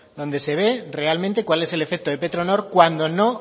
donde se ve realmente cuál es el efecto de petronor cuando no